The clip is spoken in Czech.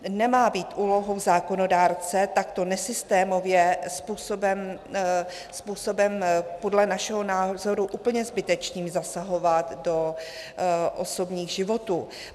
Nemá být úlohou zákonodárce takto nesystémově způsobem podle našeho názoru úplně zbytečným zasahovat do osobních životů.